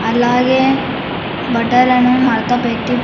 అలాగే బట్టలను మడతపెట్టి--